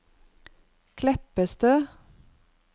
Kleppestø